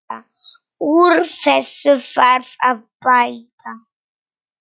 Úr þessu þarf að bæta!